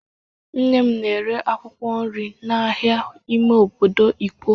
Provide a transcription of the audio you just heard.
Nne m na-ere akwụkwọ nri na ahịa ime obodo Ikwo.